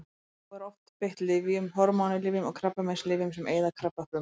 Þá er oft beitt lyfjum: hormónalyfjum og krabbameinslyfjum sem eyða krabbafrumum.